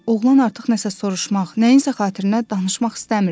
Oğlan artıq nəsə soruşmaq, nəyinsə xatirinə danışmaq istəmirdi.